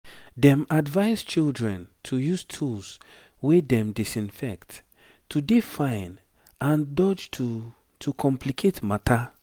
dem advise children to use tools wey dem disinfect to dey fine and dodge to to complicate matter